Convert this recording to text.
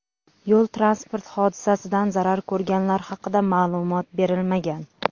Yo‘l-transport hodisasidan zarar ko‘rganlar haqida ma’lumot berilmagan.